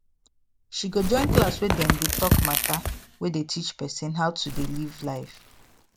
she go join class weydem dey talk matter wey dey teach person how to dey live life